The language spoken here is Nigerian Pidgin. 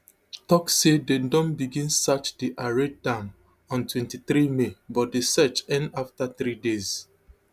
tok say dem don begin search di arade dam ontwenty-three may but di searchend afta three days